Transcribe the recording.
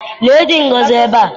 Lee dị Ngozi ebe a.